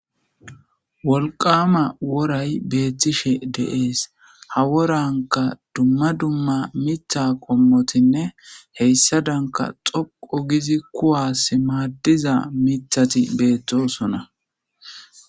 Wolqama woray beethtishe deees ha woranka dumma dumma mitha qommotinne heyssa danka xoqo gizi kuwas maaddiza mithati beettosona.